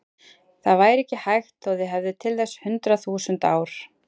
Það væri ekki hægt þó þið hefðuð til þess hundrað þúsund ár.